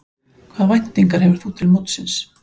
Hvaða væntingar hefur þú til mótsins?